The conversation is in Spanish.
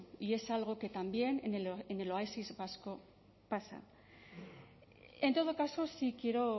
y es algo que también en el oasis vasco pasa en todo caso sí quiero